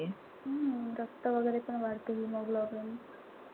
हम्म रक्त वगैरेपण वाढत hemoglobin.